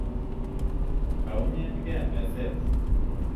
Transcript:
Kaunyen 'ge meset